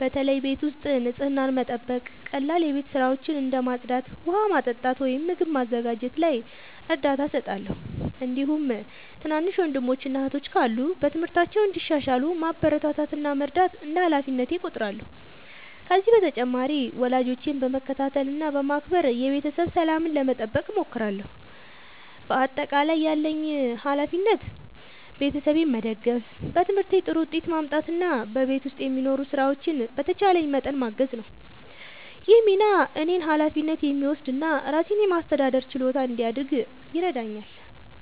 በተለይ ቤት ውስጥ ንጽህናን መጠበቅ፣ ቀላል የቤት ሥራዎችን እንደ ማጽዳት፣ ውሃ ማመጣት ወይም ምግብ ማዘጋጀት ላይ እርዳታ እሰጣለሁ። እንዲሁም ትናንሽ ወንድሞችና እህቶች ካሉ በትምህርታቸው እንዲሻሻሉ ማበረታታት እና መርዳት እንደ ሃላፊነቴ እቆጥራለሁ። ከዚህ በተጨማሪ ወላጆቼን በመከታተል እና በማክበር የቤተሰብ ሰላምን ለመጠበቅ እሞክራለሁ። በአጠቃላይ ያለብኝ ሃላፊነት ቤተሰቤን መደገፍ፣ በትምህርቴ ጥሩ ውጤት ማምጣት እና በቤት ውስጥ የሚኖሩ ሥራዎችን በተቻለኝ መጠን ማገዝ ነው። ይህ ሚና እኔን ኃላፊነት የሚወስድ እና ራሴን የማስተዳደር ችሎታ እንዲያድግ ይረዳኛል።